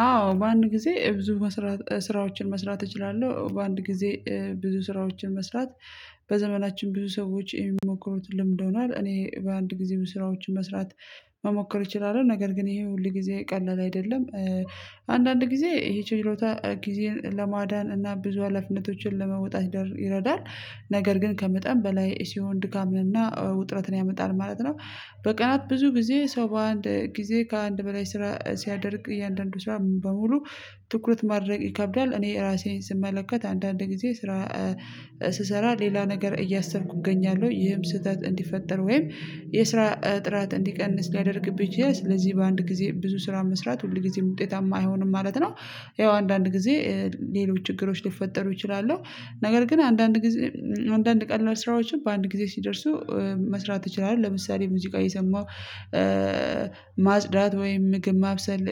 አዎ በአንድ ጊዜ ብዙ መስራት ስራዎችን መስራት እችላለሁ በአንድ ጊዜ ብዙ ስራዎችን መስራት በዘመናችን ብዙ ሰዎች የሚሞክሩት ልምድ ሆኗል እኔ በአንድ ጊዜ ስራዎችን መስራት መሞከር እችላለሁ ነገር ግን ይሄ ሁልጊዜ ቀላል አይደለም አንዳንድ ጊዜ ይሄ ችሎታ ጊዜን ለማዳን እና ብዙ ሃላፊነቶችን ለመውጣት ይረዳል ነገር ግን ከመጠን በላይ ሲሆን ድካም እና ውጥረትን ያመጣል ማለት ነው በቀናት ብዙ ጊዜ ሰው በአንድ ጊዜ ከአንድ በላይ ስራ ሲያደርግ እያንዳንዱ ስራ በሙሉ ትኩረት ማድረግ ይከብዳል እኔ ራሴን ስመለከት አንዳንድ ጊዜ ስራ ስሰራ ሌላ ነገር እያሰብኩ እገኛለሁ ይህም ስህተት እንዲፈጠር ወይም የስራ ጥራት እንዲቀንስ ሊያደርግብኝ ይችላል ስለዚህ በአንድ ጊዜ ብዙ ስራ መስራት ሁል ጊዜም ውጤታማ አይሆኑም ማለት ነው ይኸው አንዳንድ ጊዜ ሌሎች ችግሮች ሊፈጠሩ ይችላሉ ነገር ግን አንዳድ ጊዜ አንዳንድ ቀን ስራዎችን በአንድ ጊዜ ሲደርሱ መስራት ይችላል ለምሳሌ ሙዚቃ እየሰማሁ እ ማጽዳት ወይም ምግብ ማብሰል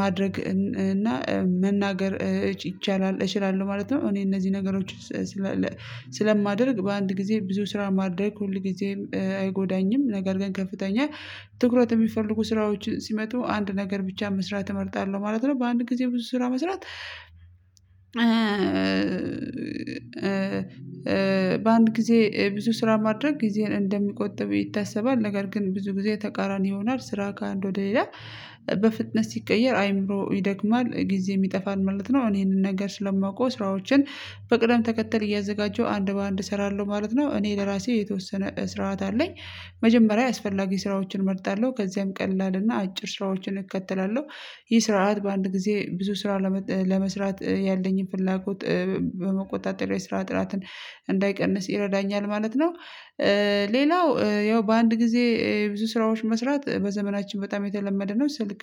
ማድረግ እና መናገር ይቻላል እችላለሁ ማለት ነው። እኔ እነዚህ ነገሮች ስለማደርግ በአንድ ጊዜ ብዙ ስራ ማዳረግ ሁል ጊዜም አይጎዳኝም ነገር ግን ከፍተኛ ትኩረት የሚፈልጉ ስራዎችን ሲመጡ አንድ ነገር ብቻ መስራት እመርጣለሁ ማለት ነው በአንድ ጊዜ ብዙ ስራ መስራት በአንድ ጊዜ ብዙ ስራ ማድረግ ጊዜን እንደሚቆጥበው ይታሰባል ነገር ግን ብዙ ጊዜ ተቃራኒ ይሆናል ስራ ከአንድ ወደ ሌላ በፍጥነት ሲቀየር አይምሮ ይደክማል ጊዜ ይጠፋል ማለት ነው አሁን ይሄንን ነገር ስለማውቀው ስራዎችን በቅደም ተከተል እያዘጋጀሁ አንድ በአንድ እሰራለሁ ማለት ነው እኔ ለራሴ የተወሰነ ስርዓት አለኝ መጀመሪያ አስፈላጊ ስራዎችን እመርጣለሁ ከዚያም ቀላል እና አጭር ስራዎችን እከተላለሁ ይህ ስርዓት በአንድ ጊዜ ብዙ ስራ ለመስራት ያለኝን ፍላጎት በመቆጣጠር ላይ ስራ ጥራትን እንዳይቀንስ ይረዳኛል ማለት ነው ሌላው ያው በአንድ ጊዜ የብዙ ስራዎች መስራት በዘመናችን በጣም የተለመደ ነው። ስልክ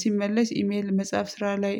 ሲመልስ ኢሜል መጽሐፍ ስራ ላይ